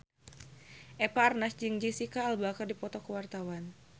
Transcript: Eva Arnaz jeung Jesicca Alba keur dipoto ku wartawan